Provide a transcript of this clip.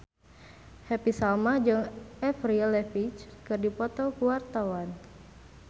Happy Salma jeung Avril Lavigne keur dipoto ku wartawan